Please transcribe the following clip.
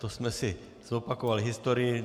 To jsme si zopakovali historii.